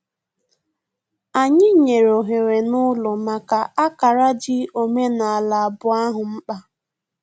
Anyị nyere ohere n'ụlọ maka ákárá dị omenaala abụọ ahụ mkpa